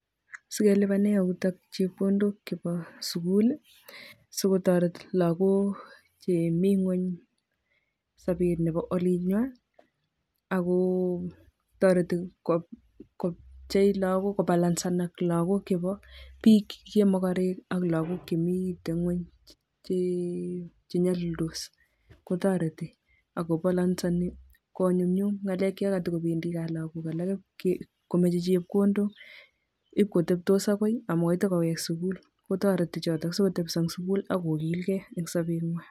Sikelibanen yutok chepkondok chebo sukul sikotoret lokok chemingweny sobet nebo olinywan ak ko toreti kopchei kobalansenak lokok chebo biik chemokorek ak lokok chemiten ngweny chenyolildos kotoreti ak kopolonseni konyumnyum ngalek chokotobendi Kaa lokok alak komoche chepkondok iib kotebtos akoi amun itee kowek sukul kotoreti choto sikotebso en sukul ak kokilke en sobenywan.